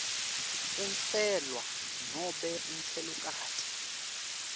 umfelwa nobe umfelokati